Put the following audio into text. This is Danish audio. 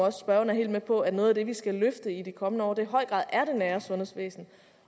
at spørgeren er helt med på at noget af det vi skal løfte i de kommende år i høj grad er det nære sundhedsvæsen